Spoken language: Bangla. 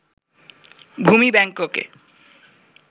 ভূমি ব্যাংককে